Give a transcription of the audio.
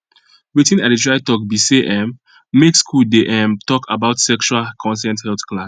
watin i dey try talk be say um make school dey um talk about sexual consent health class